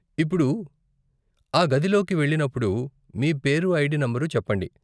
ఇప్పుడు, ఆ గదిలోకి వెళ్ళినప్పుడు, మీ పేరు ఐడీ నంబరు చెప్పండి.